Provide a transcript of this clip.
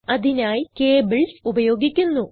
അതിനായി കേബിൾസ് ഉപയോഗിക്കുന്നു